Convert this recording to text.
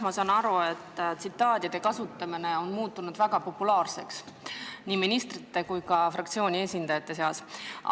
Ma saan aru, et tsitaatide kasutamine on muutunud väga populaarseks nii ministrite kui ka fraktsiooni esindajate seas.